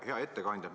Hea ettekandja!